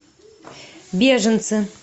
беженцы